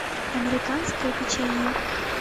американское печенье